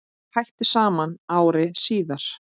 Þau hættu saman ári síðar.